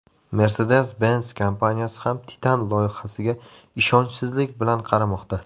Mercedes-Benz kompaniyasi ham Titan loyihasiga ishonchsizlik bilan qaramoqda.